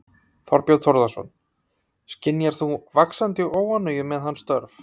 Þorbjörn Þórðarson: Skynjar þú vaxandi óánægju með hans störf?